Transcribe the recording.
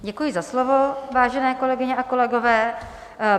Děkuji za slovo, vážené kolegyně a kolegové.